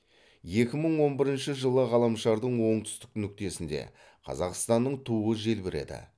екі мың он бірінші жылы ғаламшардың оңтүстік нүктесінде қазақстанның туы желбіреді